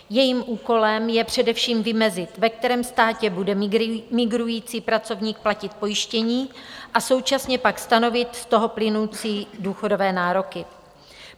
Jejím úkolem je především vymezit, ve kterém státě bude migrující pracovník platit pojištění, a současně pak stanovit z toho plynoucí důchodové nároky.